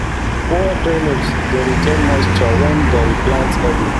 poor drainage dey retain moisture when dem plant early